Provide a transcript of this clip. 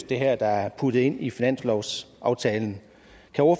der er puttet ind i finanslovsaftalen